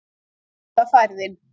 Svo er það færðin